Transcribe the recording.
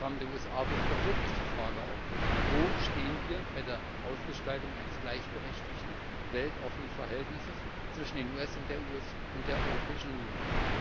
Das PRISM Programm der USA wirft doch wirklich die Frage auf Wo stehen wir bei der Ausgestaltung eines gleichberechtigten, weltoffenen Verhältnisses zwischen den USA und der Europäischen Union?